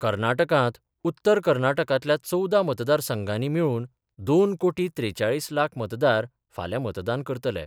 कर्नाटकांत, उत्तर कर्नाटकांतल्या चवदा मतदार संघानी मेळुन २ कोटी त्रेचाळीस लाख मतदार फाल्यां मतदान करतले.